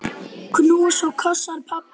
Knús og kossar, pabbi minn.